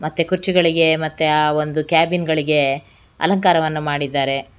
ಮತ್ತೆ ಕುರ್ಚಿಗಳಿಗೆ ಮತ್ತೆ ಆ ಒಂದು ಕ್ಯಾಬಿನ್ ಗಳಿಗೆ ಅಲಂಕಾರವನ್ನು ಮಾಡಿದ್ದಾರೆ.